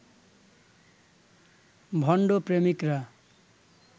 ভণ্ড প্রেমিকরা